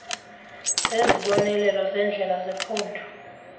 zezibonelelo zendlela zephondo